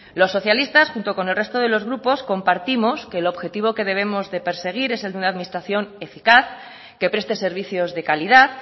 los socialistas junto con el resto de los grupos compartimos que el objetivo que debemos de perseguir es el de una administración eficaz que preste servicios de calidad